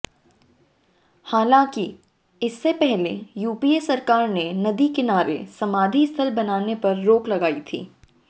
हालांकि इससे पहले यूपीए सरकार ने नदी किनारे समाधि स्थल बनाने पर रोक लगाई थी